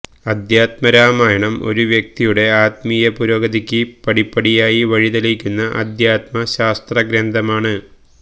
അദ്ധ്യാത്മ രാമായണം ഒരു വ്യക്തിയുടെ ആത്മീയപുരോഗതിക്ക് പടിപ്പടിയായി വഴിതെളിക്കുന്ന അദ്ധ്യാത്മ ശാസ്ത്രഗ്രന്ഥമാണ്